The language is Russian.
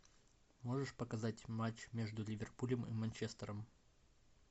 можешь показать матч между ливерпулем и манчестером